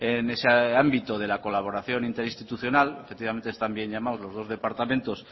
en ese ámbito de la colaboración interinstitucional efectivamente están bien llamados los dos departamentos